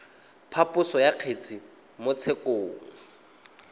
phaposo ya kgetse mo tshekong